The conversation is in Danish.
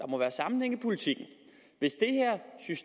må være sammenhæng i politikken hvis